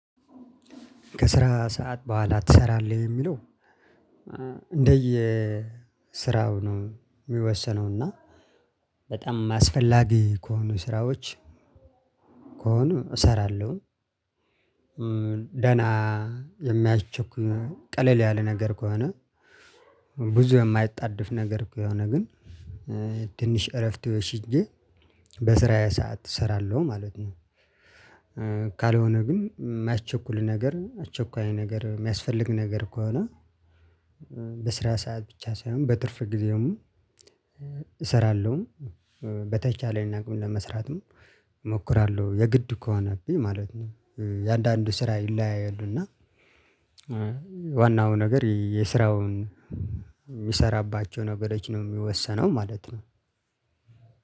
ክስራ ሰዓት በኋላ ትሰራለህ ወይ የሚለው? እንደየ ስራው ነው የሚወሰነው እና በጣም አስፈላጊ ከሆነኡ ስራዎች ከሆኑ እሰራለሁ። ደህና የሚያቸኩ ቀለል ያለ ነገር ከሆነ ብዙ የማያጣድፍ ነገር ከሆነ ግን ትንሽ እረፍት ወስጄ በስራዬ ሰዓት እሰራለሁ ማለት ነው። ካልሆነ ግን እማያስቸኩል ነገር አስቸኳይ ነገር የሚያስፈልግ ነገር ከሆነ በስራ ሰዓት ብቻ ሳይሆን በትርፍ ጊዜውም እሰራለሁ በተቻለኝ አቅም ለመስራትም እሞክራለሁ የግድ ከሆነብኝ ማለት ነው። የአንዳንዱ ስራ ይለያያሉ እና ዋናው ነገር የስራውን የሚሰራባቸው ነገሮች ነው የሚወሰነው ማለት ነው።